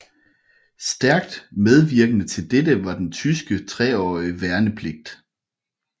Stærkt medvirkende til dette var den tyske treårige værnepligt